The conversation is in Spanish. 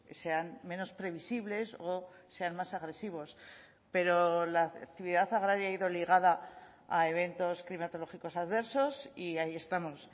sean menos previsibles o sean más agresivos pero la actividad agraria ha ido ligada a eventos climatológicos adversos y ahí estamos